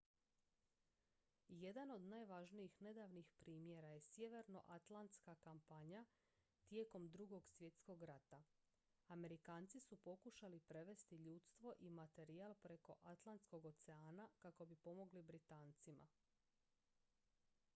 jedan od najvažnijih nedavnih primjera je sjevernoatlantska kampanja tijekom drugog svjetskog rata amerikanci su pokušali prevesti ljudstvo i materijal preko atlantskog oceana kako bi pomogli britancima